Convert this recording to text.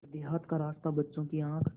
पर देहात का रास्ता बच्चों की आँख